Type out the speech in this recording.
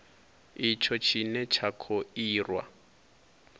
itsho tshine tsha kho irwa